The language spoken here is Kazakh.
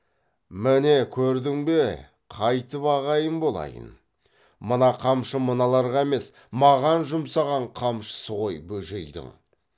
міне көрдің бе қайтып ағайын болайын мына қамшы мыналарға емес маған жұмсаған қамшысы ғой бөжейдің